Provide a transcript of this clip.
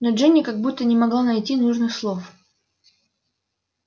но джинни как будто не могла найти нужных слов